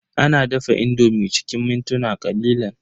Ana dafa indomi cikin mintuna ƙalilan.